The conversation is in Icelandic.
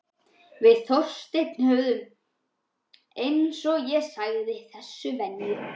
Við Þorsteinn höfðum, eins og ég sagði, þessa venju.